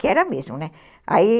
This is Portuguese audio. Que era mesmo, né?